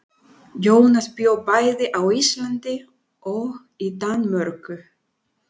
Jónas bjó bæði á Íslandi og í Danmörku.